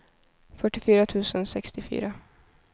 fyrtiofyra tusen sextiofyra